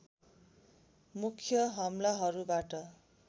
मुख्य हमलाहरूबाट